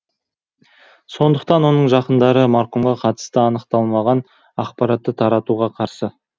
сондықтан оның жақындары марқұмға қатысты анықталмаған ақпаратты таратуға қарсы